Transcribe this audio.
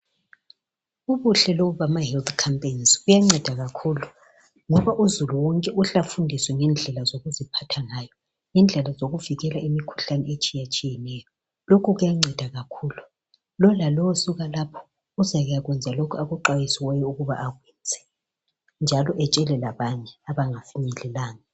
Ubuhle lobu bama health campaigns, kuyanceda kakhulu, ngakho uzulu wonke uhle afundiswe ngendlela zokuziphatha ngayo , lendlela zokuvikela imikhuhlane etshiyatshiyeneyo. Lokhu kuyanceda kakhulu, lowu lalowu usuka lapho ezakuyakwenza lokho akufundisiweyo ukuba akwenze njalo atshele labanye abangafinyelelanga.